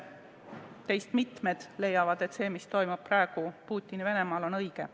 Teist mitmed leiavad, et see, mis toimub praegu Putini-Venemaal, on õige.